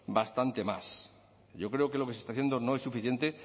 bastante más yo creo que lo que se está haciendo no es suficiente